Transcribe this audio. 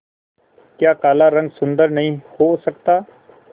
क्या काला रंग सुंदर नहीं हो सकता